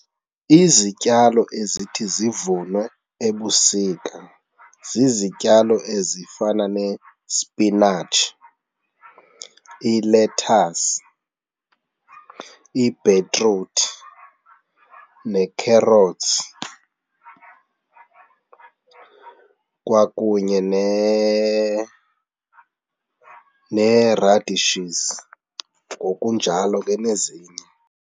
Izityalo ezithi zivunwe ebusika zizityalo ezifana nespinatshi, ilethasi, ibhitruthi neekherotsi kwakunye nee-radishes ngokunjalo ke nezinye.